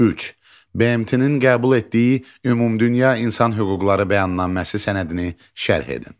Üç: BMT-nin qəbul etdiyi Ümumdünya İnsan Hüquqları Bəyannaməsi sənədini şərh edin.